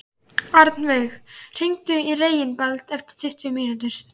Árveig, hringdu í Reginbald eftir tuttugu mínútur.